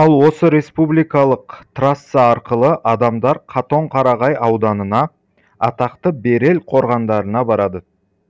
ал осы республикалық трасса арқылы адамдар қатон қарағай ауданына атақты берел қорғандарына барады